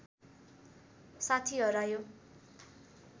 साथी हरायो